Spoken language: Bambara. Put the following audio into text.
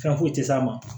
Fɛn foyi tɛ s'a ma